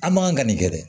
An man ka nin kɛ dɛ